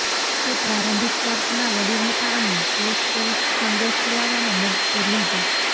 તે પ્રારંભિક ચર્ચના વડીલ હતા અને ગોસ્પેલ સંદેશ ફેલાવવામાં મદદ કરી હતી